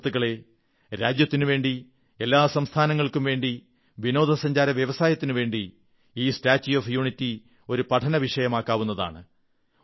സുഹൃത്തുക്കളേ രാജ്യത്തിനുവേണ്ടി എല്ലാ സംസ്ഥാനങ്ങൾക്കും വേണ്ടി വിനോദസഞ്ചാര വ്യവസായത്തിനുവേണ്ടി ഈ സ്റ്റാച്യൂ ഓഫ് യൂണിറ്റി ഒരു പഠനവിഷയമാകാവുന്നതാണ്